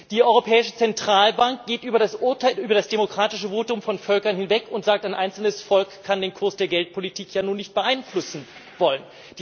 Die Europäische Zentralbank geht über das demokratische Votum von Völkern hinweg und sagt, ein einzelnes Volk kann den Kurs der Geldpolitik ja nun nicht beeinflussen wollen.